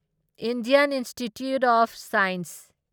Indian Institute of science